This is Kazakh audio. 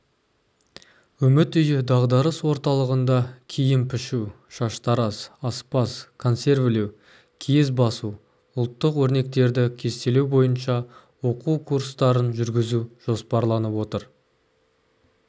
үміт үйі дағдарыс орталығында киім пішу шаштараз аспаз консервілеу киіз басу ұлттық өрнектерді кестелеу бойынша оқу курстарын жүргізу жоспарланып отыр